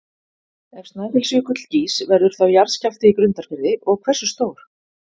Ef Snæfellsjökull gýs verður þá jarðskjálfti í Grundarfirði og hversu stór?